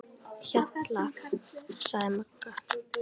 Hjalla, sagði Magga.